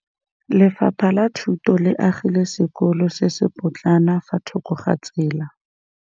Lefapha la Thuto le agile sekôlô se se pôtlana fa thoko ga tsela.